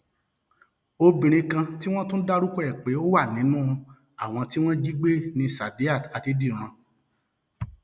obìnrin kan tí wọn tún dárúkọ ẹ pé ó wà nínú um àwọn tí wọn jí gbé ní saidat um adédìran